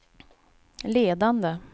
ledande